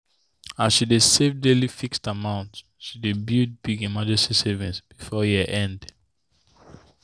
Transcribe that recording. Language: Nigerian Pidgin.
as she dey save save daily fixed amount she build big emergency savings before year end.